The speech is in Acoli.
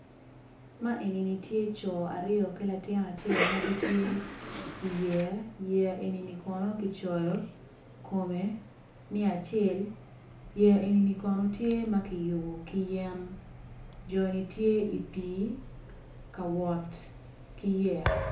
Man eni tye co aryo ki latin acel ma gitye i yeya yeya eni kono kicoyo kome ni acel yeya eni kono tye ma kiyubo kiyen joni tye i pii ka wot ki yeya.